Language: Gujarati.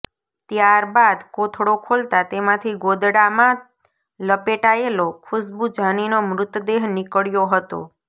ત્યારબાદ કોથળો ખોલતાં તેમાંથી ગોદડામાં લપેટાયેલો ખુશ્બુ જાનીનો મૃતદેહ નીકળ્યો હતો